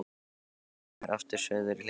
Ég renndi mér aftur suður í hlíðina.